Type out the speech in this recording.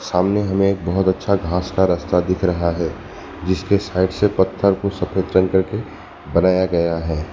सामने हमें एक बहुत अच्छा घास का रास्ता दिख रहा है जिसके साइड से पत्थर को सफेद रंग करके बनाया गया है।